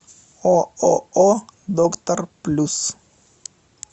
ооо доктор плюс